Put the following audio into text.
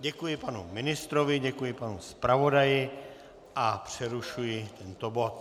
Děkuji panu ministrovi, děkuji panu zpravodaji a přerušuji tento bod.